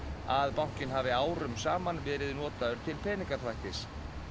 að bankinn hafi árum saman verið notaður til peningaþvættis